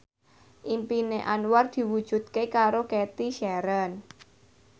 impine Anwar diwujudke karo Cathy Sharon